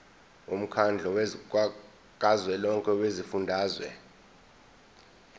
womkhandlu kazwelonke wezifundazwe